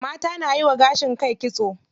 Mata nayiwa gashin kai kitso.